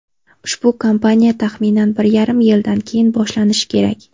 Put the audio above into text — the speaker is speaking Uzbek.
Ushbu kampaniya taxminan bir yarim yildan keyin boshlanishi kerak.